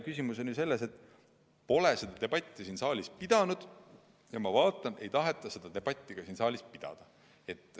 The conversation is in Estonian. Küsimus on selles, et seda debatti pole siin saalis peetud ja ma vaatan, et seda ei tahetagi siin saalis pidada.